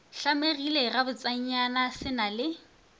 hlamegile gabotsenyana se na le